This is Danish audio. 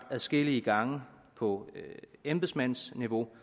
adskillige gange på embedsmandsniveau